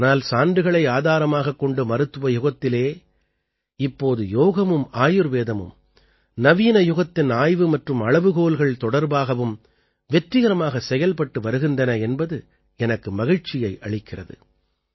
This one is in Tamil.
ஆனால் சான்றுகளை ஆதாரமாகக் கொண்ட மருத்துவ யுகத்திலே இப்போது யோகமும் ஆயுர்வேதமும் நவீன யுகத்தின் ஆய்வு மற்றும் அளவுகோல்கள் தொடர்பாகவும் வெற்றிகரமாகச் செயல்பட்டு வருகின்றன என்பது எனக்கு மகிழ்ச்சியை அளிக்கிறது